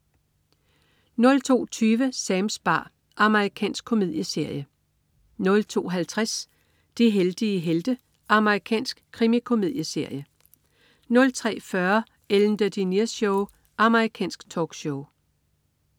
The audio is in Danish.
02.20 Sams bar. Amerikansk komedieserie 02.50 De heldige helte. Amerikansk krimikomedieserie 03.40 Ellen DeGeneres Show. Amerikansk talkshow